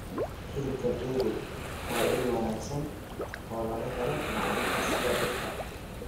Hilibka geelu waa il wanaagsan oo laga helo macdanta sida birta